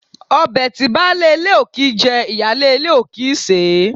Ọbẹ̀ tí baálé ilé ò kìí jẹ, ìyáálé ilé ò kì í sèé.